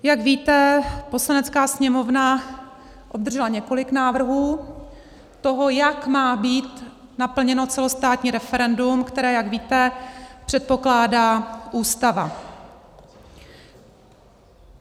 Jak víte, Poslanecká sněmovna obdržela několik návrhů toho, jak má být naplněno celostátní referendum, které, jak víte, předpokládá Ústava.